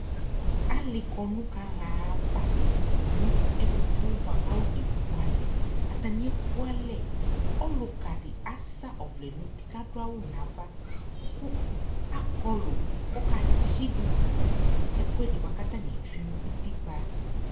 ali kɔno kaɣa ava no ɛfo boa ko afone ku alɛ atani ɛku alɛ ɔloka di asa ɔvlɛ no uti ko ado awu no ava ko akɔlo ko oka tsi ivu to no ɛkoɛdi ko atani etsue no utikpa